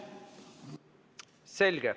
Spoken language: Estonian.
Selge.